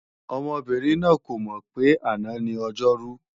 Ọmọbìnrin náà kò mọ̀ pé àná ni Ọjọ́rú